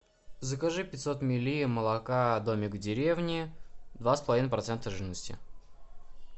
закажи пятьсот милли молока домик в деревне два с половиной процента жирности